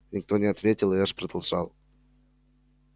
никто не ответил и эш продолжал